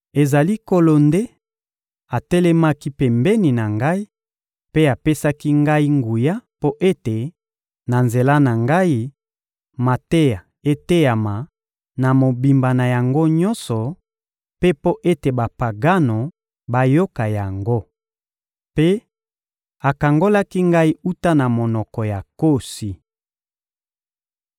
Ezali Nkolo nde atelemaki pembeni na ngai mpe apesaki ngai nguya mpo ete, na nzela na ngai, mateya eteyama na mobimba na yango nyonso, mpe mpo ete Bapagano bayoka yango. Mpe akangolaki ngai wuta na monoko ya nkosi.